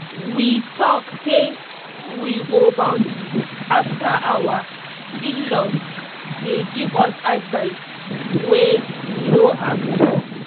we talk say we go boundary after our in-laws dey give us advice wey we no ask for